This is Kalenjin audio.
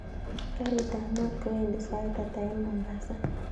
Karit ab mat kowendi sait ata en mombasa